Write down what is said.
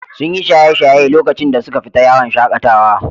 Sun yi shaye-shaye lokacin da suka fita yawon shaƙatawa.